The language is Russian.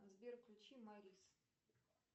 сбер включи морис